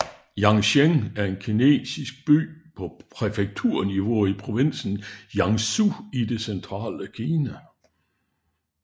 Yancheng er en kinesisk by på præfekturniveau i provinsen Jiangsu i det centrale Kina